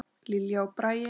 Lilja og Bragi.